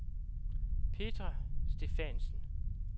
Petra Stephansen